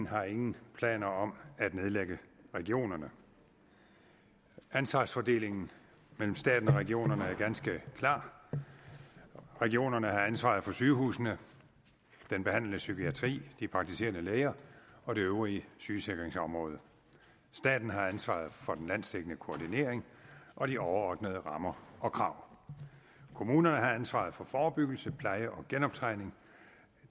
har ingen planer om at nedlægge regionerne ansvarsfordelingen mellem staten og regionerne er ganske klar regionerne har ansvaret for sygehusene den behandlende psykiatri de praktiserende læger og det øvrige sygesikringsområde staten har ansvaret for den landsdækkende koordinering og de overordnede rammer og krav kommunerne har ansvaret for forebyggelse pleje og genoptræning